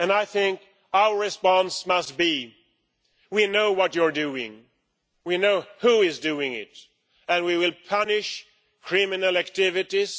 I think our response must be we know what you're doing, we know who is doing it and we will punish criminal activities.